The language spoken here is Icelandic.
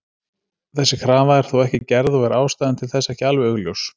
Þessi krafa er þó ekki gerð og er ástæðan til þess ekki alveg augljós.